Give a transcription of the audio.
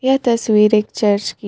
यह तस्वीर एक चर्च की है.